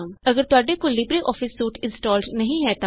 ਅਗਰ ਤੁਹਾਡੇ ਕੋਲ ਲਿਬਰੇਆਫਿਸ ਸੂਟ ਇੰਸਟਾਲ ਨਹੀ ਹੈ ਤਾਂ